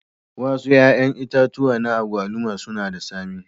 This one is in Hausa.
Wasu 'ƴa'ƴan itatuwa na agwaluma suna da tsami.